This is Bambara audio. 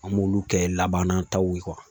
An b'olu kɛ laban nataw ye